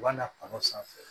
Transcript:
U b'a na kɔnɔ sanfɛ